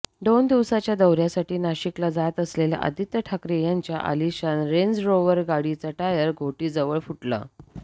दोन दिवसांच्या दौऱ्यासाठी नाशिकला जात असलेल्या आदित्य ठाकरे यांच्या आलिशान रेंजरोव्हर गाडीचा टायर घोटीजवळ फुटला